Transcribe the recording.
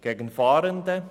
Gegen Fahrende?